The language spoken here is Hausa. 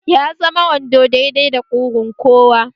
Ya zama wando dai dai da kugun kowa